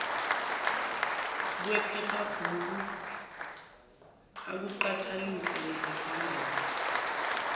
kwephephabhuku akuqhathanise nephephandaba